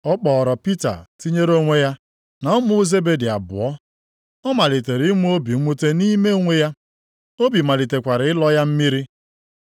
Ọ kpọọrọ Pita tinyere onwe ya, na ụmụ Zebedi abụọ. Ọ malitere inwe obi mwute nʼime onwe ya. Obi malitekwara ịlọ ya mmiri.